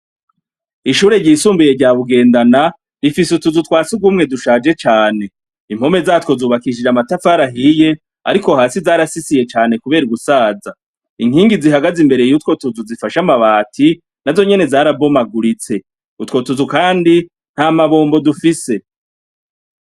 Ishure y’isubuye ryabugendana dufise utuzu twasugumye dushaje cane inkome zatwo tubatswe na matafari ahiye ariko hasi zarasisiye cane kubera gusaza inkingi zihagaze imbere yaho zifashe amabati nazo nyene zarashaje kandi utwo tuzu na mabombo dufise.